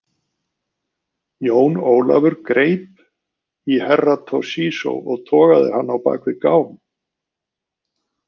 Jón Ólafur grip í Herra Toshizo og togaði hann á bak við gám.